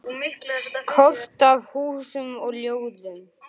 Sjáumst á morgun, elskan.